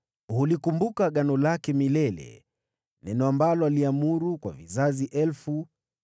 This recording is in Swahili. Hulikumbuka agano lake milele, neno ambalo aliamuru, kwa vizazi elfu,